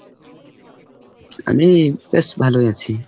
আমি? বেশ ভালোই আছি।